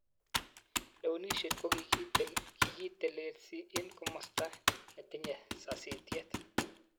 Lewenishet ko kikitelesin en komostan netinye sasitiet.